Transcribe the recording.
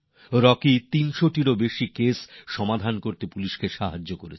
Rocky ৩০০র বেশি মামলার সমাধানে পুলিশকে সাহায্য করেছে